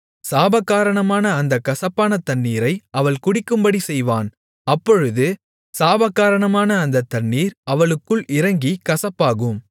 சாபகாரணமான அந்தக் கசப்பான தண்ணீரை அவள் குடிக்கும்படிச் செய்வான் அப்பொழுது சாபகாரணமான அந்த தண்ணீர் அவளுக்குள் இறங்கிக் கசப்பாகும்